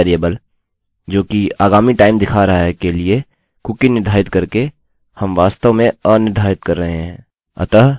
अब इस वेरिएबल जोकि आगामी time दिखा रहा है के लिए कुकीcookie निर्धारित करके हम वास्तव में अनिर्धारित कर रहें हैं